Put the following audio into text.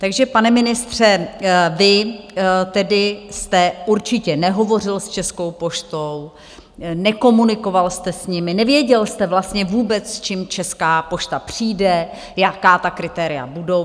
Takže pane ministře, vy tedy jste určitě nehovořil s Českou poštou, nekomunikoval jste s nimi, nevěděl jste vlastně vůbec, s čím Česká pošta přijde, jaká ta kritéria budou.